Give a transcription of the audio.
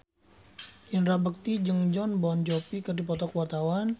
Indra Bekti jeung Jon Bon Jovi keur dipoto ku wartawan